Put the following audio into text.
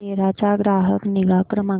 सेरा चा ग्राहक निगा क्रमांक